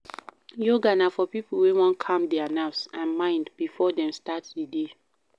Yoga na for pipo wey won calm their nerves and mind before dem start di day